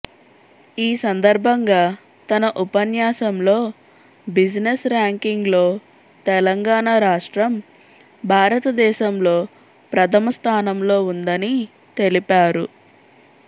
ఈ సందర్భంగా తన ఉపన్యాసంలో బిజినెస్ ర్యాంకింగ్స్లో తెలంగాణ రాష్ట్రం భారతదేశంలో ప్రధమ స్థానంలో ఉందని తెలిపారు